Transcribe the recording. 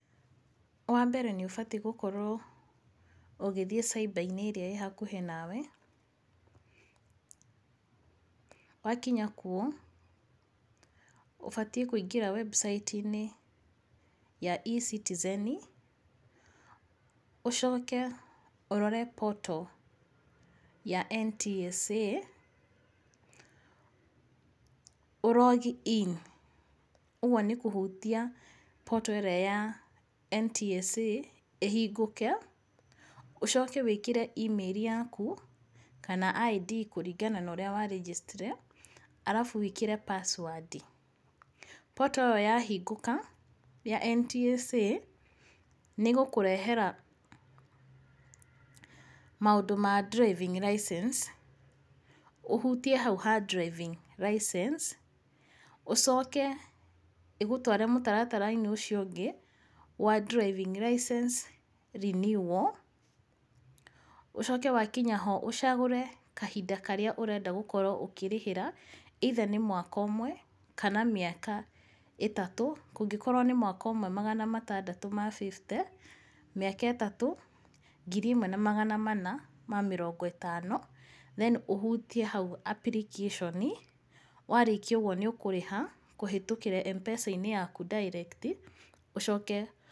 Wa mbere nĩ ũbatiĩ gũkorwo ũgĩthiĩ cyber ĩrĩa ĩĩ hakuhĩ nawe wakinya kuo ũbatiĩ kũingĩra website inĩ ya E-Citizen ũcoke ũrore portal ya NTSA ũ log in ũguo nĩ kũhutia portal ĩrĩa ya NTSA ĩhingũke, ũcoke wĩkĩre email yaku kana ID yaku kũringana na ũrĩa we registered arabu wĩkĩre password. Portal ĩyo ya hingũka ya NTSA nĩ ĩgũkũrehera maũndũ ma driving license, ũhutie hau ha driving license ũcoke ĩgũtware mũtaratara-inĩ ũcio ũngĩ wa driving license renewal, ũcoke wakinya ho ũcagũre kahinda karĩa ũrenda gũkorwo ũkĩrĩhĩra either nĩ mwaka ũmwe kana mĩaka ĩtatũ. Kũngĩkorwo nĩ mwaka ũmwe magana matandatũ ma fifty, mĩaka ĩtatũ ngiri ĩmwe na magana mana ma mĩrongo ĩtano. Then ũhutie hau application warĩkia ũguo nĩ ũkũrĩha kũhĩtũkĩra M-pesa yaku direct ũcoke...